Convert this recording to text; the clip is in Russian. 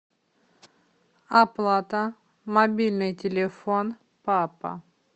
оплата мобильный телефон папа